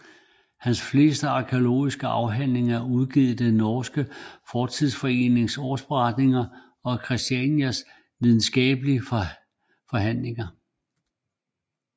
Hans fleste arkæologiske afhandlinger er udgivet i den norske fortidsforenings årsberetninger og i Kristiania Videnskabsselskabs forhandlinger